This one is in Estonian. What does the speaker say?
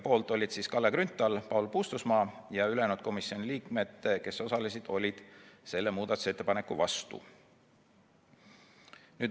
Poolt olid Kalle Grünthal ja Paul Puustusmaa, ülejäänud komisjoni liikmed olid selle muudatusettepaneku vastu.